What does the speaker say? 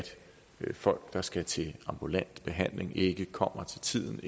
folk der skal til ambulant behandling ikke kommer til tiden